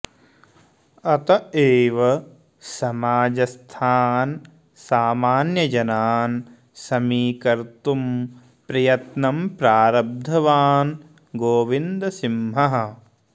अत एव समाजस्थान् सामान्यजनान् समीकर्तुम् प्रयत्नं प्रारब्धवान् गोविन्दसिहः